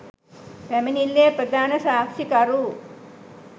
පැමිණිල්ලේ ප්‍රධාන සාක්ෂිකරු